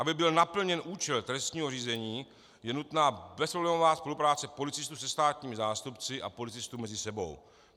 Aby byl naplněn účel trestního řízení, je nutná bezproblémová spolupráce policistů se státními zástupci a policistů mezi sebou.